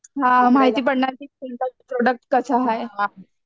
हा माहिती पडणार की कोणता प्रोड़क्ट कसा हाय